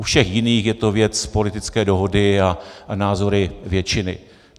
U všech jiných je to věc politické dohody a názory většiny.